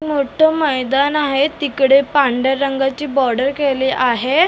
मोठं मैदान आहे तिकडे पांढऱ्या रंगाची बॉर्डर केली आहे.